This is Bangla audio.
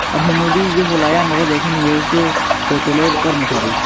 দেখেন এ হইছে হোটেলের কর্মচারী।